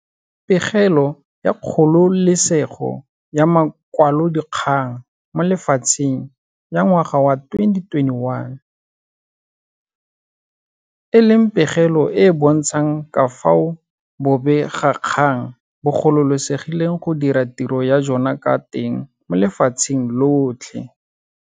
Pegelo ya Kgololesego ya Makwalodikgang mo Lefatsheng ya ngwaga wa 2021, e leng pegelo e e bontshang ka fao bobegakgang bo gololesegileng go dira tiro ya jona ka teng mo lefatsheng lotlhe.